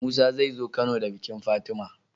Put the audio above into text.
Musa zai zo kano da bikin fatima